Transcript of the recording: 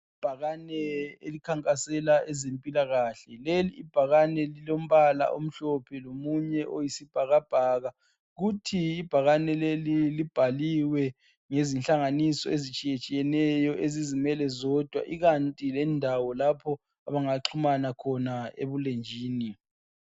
Ibhakane elikhankasela ezempilakahle. Leli ibhakane lilombala omhlophe lomunye oyisibhakabhaka. Kuthi ibhakane leli libhaliwe ngezinhlanganiso ezitshiyetshiyeneyo ezizimele zodwa ikanti lendawo lapho abangaxhumana khona ebulenjini.